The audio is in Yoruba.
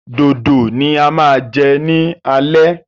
Dòdò ni a máa jẹ ní alẹ́